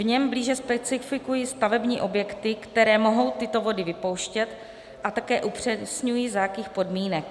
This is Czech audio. V něm blíže specifikuji stavební objekty, které mohou tyto vody vypouštět, a také upřesňuji, za jakých podmínek.